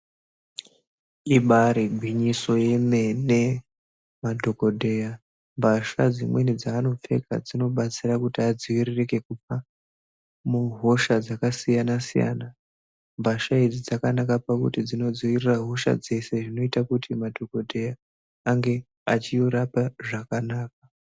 Ibaari gwinyiso yemene madhokodheya mbahla dzimweni dzaanopfeka dzinobatsira kuti adziiririke kubva muhosha dzakasiyanasiyana mbasha idzi dzakanaka kuti dzinodziirira hosha dzese zvinoita kuti madhokodheya ange achirapa zvakanaka.